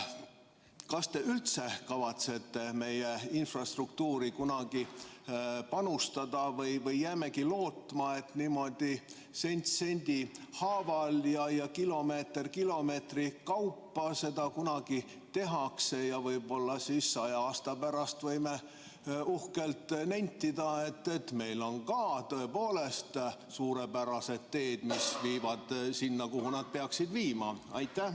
Kas te üldse kavatsete meie infrastruktuuri kunagi panustada või jäämegi lootma, et niimoodi sent sendi haaval ja kilomeeter kilomeetri kaupa seda kunagi tehakse ja võib-olla saja aasta pärast võime uhkelt nentida, et ka meil on tõepoolest suurepärased teed, mis viivad sinna, kuhu nad peaksid viima?